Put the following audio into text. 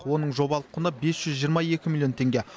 оның жобалық құны бес жүз жиырма екі миллион теңге